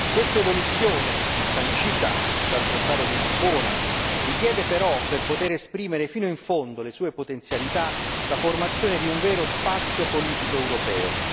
Questa evoluzione sancita dal trattato di Lisbona richiede però, per poter esprimere fino in fondo le sue potenzialità, la formazione di un vero spazio politico europeo.